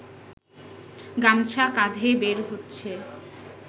গামছা কাঁধে বের হচ্ছে